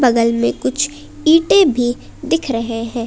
बगल में कुछ ईंटे भी दिख रहे हैं।